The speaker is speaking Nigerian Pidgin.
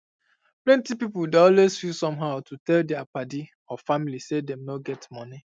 plenty pipu um dey always feel somehow to tell um dia paddy or family say dem no get money